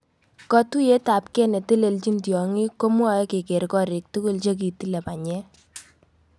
Kotuiyet ap.kei netelelchin tyong'ik komwoe keger korik tugul chegitilei. panyek